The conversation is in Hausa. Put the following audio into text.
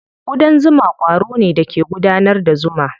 Ƙudan zuma ƙwaro ne da ke gudanar da zuma.